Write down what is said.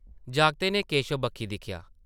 जागतै नै केशव बक्खी दिक्खेआ ।